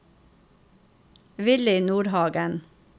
Willy Nordhagen